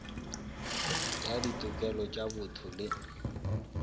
ya ditokelo tša botho le